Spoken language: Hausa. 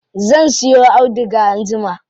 Zan siyo auduga anjima.